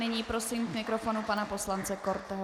Nyní prosím k mikrofonu pana poslance Korteho.